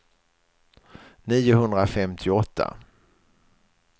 niohundrafemtioåtta